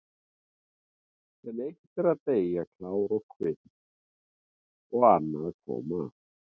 En eitt er að deyja klárt og kvitt og annað að koma aftur.